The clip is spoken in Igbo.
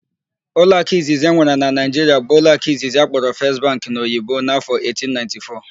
Ụlọakụ izizi enwere na Naịjiria bụ ụlọakụ Izizi akpọrọ 'First Bank' n'Oyibo n'afọ 1894.